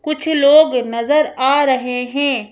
कुछ लोग नजर आ रहे हैं।